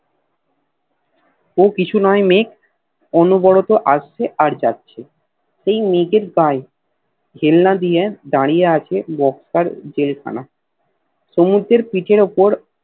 ও কিছু নয় মেঘ অনুবরত আসছে আর যাচ্ছে সেই মেঘের গায়ে হেলনা দিয়ে দাড়িয়ে আছে বক্সের জেল খানা সমুদ্রের পিঠের ওপর